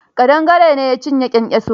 Ƙadangare ne ya cinye kyankyasun.